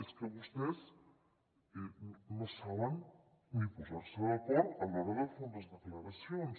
és que vostès no saben ni posar se d’acord a l’hora de fer unes declaracions